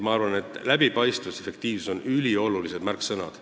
Nii et läbipaistvus ja efektiivsus on üliolulised märksõnad.